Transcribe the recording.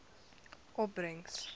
opbrengs